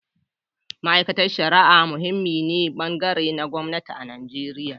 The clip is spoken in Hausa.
Ma’aikatar Shari’a muhimmin bangare ne na gwamnati a Najeriya.